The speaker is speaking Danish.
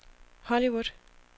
Hollywood